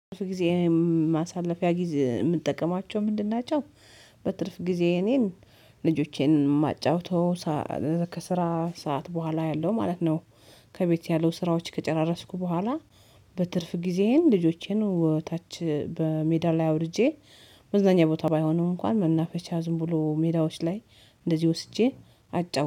በትርፍ ጊዜ ማሳለፊያ ጊዜ የምንጠቀማቸው ምንድን ናቸው? በትርፍ ጊዜ እኔን ልጆቼን ማጫወተው ከስራ ሰዓት ቦኋላ ያለው ማለት ነው። ከቤት ያለው ስራዎች ከጨራረስኩ ቦኋላ በትርፍ ጊዜዬን ልጆቼን ታች በሜዳ ላይ አውርጄ መዝናኛ ቦታ ባይሆንም እንኳን መናፈሻ ዝም ብሎ ሜዳዎች ላይ እንደዚህ ወስጄ አጫው